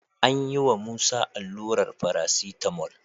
An yiwa Musa allurar paracetamol.